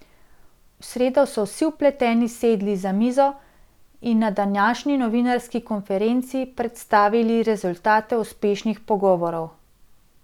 V sredo so vsi vpleteni sedli za mizo in na današnji novinarski konferenci predstavili rezultate uspešnih pogovorov.